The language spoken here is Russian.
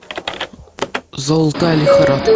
золотая лихорадка